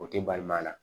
O tɛ balimaya la